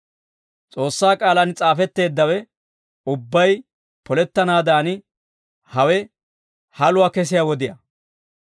S'oossaa k'aalaan s'aafetteeddawe ubbay polettanaadan hawe haluwaa kesiyaa wodiyaa.